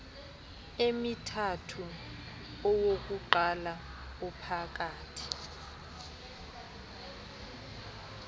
emithathu owokuqala ophakathi